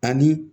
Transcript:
Ani